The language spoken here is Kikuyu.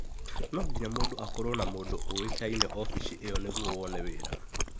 No nginya mũndũ akorwo na mũndũ ũĩkaine ofici icio nĩguo wone wĩra.